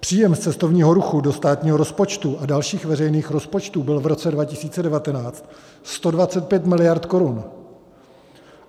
Příjem z cestovního ruchu do státního rozpočtu a dalších veřejných rozpočtů byl v roce 2019 125 miliard korun.